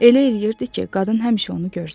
Elə eləyirdi ki, qadın həmişə onu görsün.